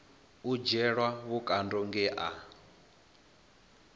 u dzhielwa vhukando nge a